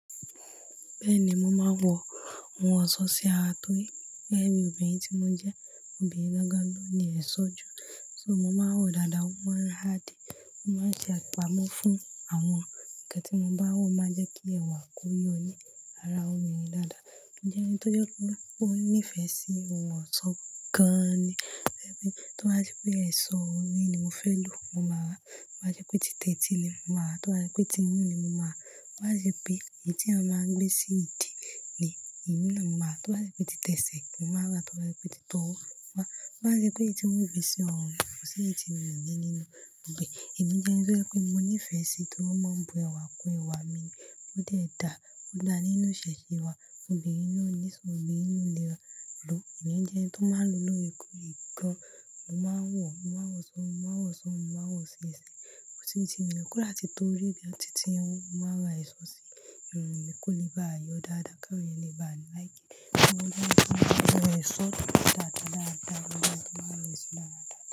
Bẹ́ẹ̀ ni, mo máa ń wọ ohun ọ̀ṣọ́ sí ara torí obìnrin tí mo jẹ́, obìnrin gan ni oni ẹ̀ṣọ́ ju. So mo máa ń wọ̀ dáadáa, mo máa ń rà díè, mo máa ń ṣe àpamọ́ fún àwọn ǹkan tí mo bá wọ̀ máa jẹ́ kí ẹ̀wà ko yọ ní ara eeyan dáadáa. Mo je ẹni tó jẹ́ pe o ní ìfẹ́ sí ohun ọ̀ṣọ́ gan-an ni. Tí wọ́n bá ṣe pé ẹ̀ṣọ́ orí ni mo fẹ́ lò, mo máa rà. Tọ́ bá ṣe pé tí tẹ́tí ni, mo máa rà. Tí o bá ṣe pé tí imún ni, mo máa rà. To bá ṣe pé èyí tí a máa ń gbé sí ìdí ni, èyí náà mo máa rà. Tí o bá ṣe pé tẹsẹ̀ mó máa rà. Tí o bá ṣe pé tọwọ́, mo máa-ra to bá ṣe pé èyí tí wọ́n fi ń ṣe irun, ko sì yi ti mí o ní ninú e. Èmi jẹ́ ẹni to je wi pé mo nífẹ̀ẹ́ sí i torí ó máa ń bu ẹwà kú ẹwà mi, ó dè dá, ó dá nínú ìṣẹ̀ṣe wa. Obìnrin ló ní esọ́, obìnrin ló ni ewa. Ẹ̀mí jẹ́ ẹni tí ó máa ń lo lóre koore gan. Mo máa ń wọ, mo máa ń wo so ri, mo máa n wọ̀ si ese. Mo ti rí tí mi ò kọ́ láti tó rí bí ọtí tí ẹ́hun. Mo máa ra ẹ̀ṣọ́ sí irun mi kó lè bá yọ dáadáa, ká lè bá ni láìkí. Mo máa ń wọ ẹ̀ṣọ́ dáadáa, dáadáa, mo máa ń lo ẹ̀ṣọ́ dáadáa.